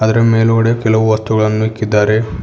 ಅದರ ಮೇಲುಗಡೆ ಕೆಲವು ವಸ್ತುಗಳನ್ನು ಇಕ್ಕಿದ್ದಾರೆ.